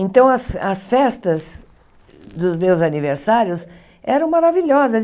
Então, as as festas dos meus aniversários eram maravilhosas.